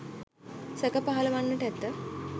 සැක පහළ වන්නට ඇත.